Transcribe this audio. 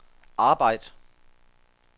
arbejd